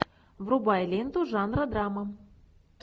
врубай ленту жанра драма